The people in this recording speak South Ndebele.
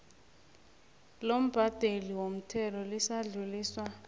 lombhadeli womthelo lisadluliswa